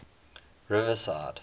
riverside